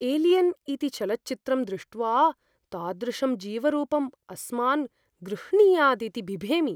Alien इति चलच्चित्रं दृष्ट्वा, तादृशं जीवरूपम् अस्मान् गृह्णीयादिति बिभेमि।